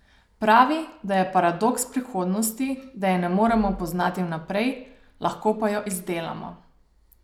Pravi, da je paradoks prihodnosti, da je ne moremo poznati vnaprej, lahko pa jo izdelamo.